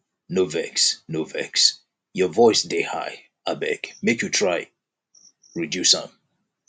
no vex no vex your voice dey high abeg make you try reduce am